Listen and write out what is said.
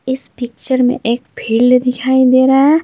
इस पिक्चर में एक फील्ड दिखाई दे रहा है।